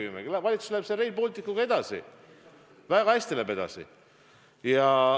Härra Kivimägi, valitsus läheb selle Rail Balticuga edasi, väga hästi läheb edasi.